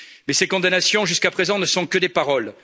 Ses condamnations, jusqu'à présent, ne sont que des paroles.